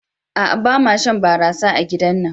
A'a bama shan barasa a gidar mu.